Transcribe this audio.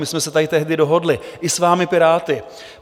My jsme se tady tehdy dohodli i s vámi Piráty.